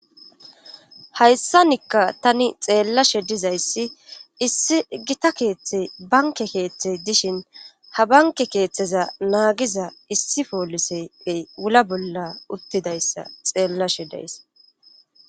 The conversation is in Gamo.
Hayssanikka tani xeellashe dizayssi issi gita keeththe banke keeththey dishin ha banke keeththeza naagiza issi pooliseey wula bolla uttidayssa xeellashe dayss.